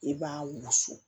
I b'a wusu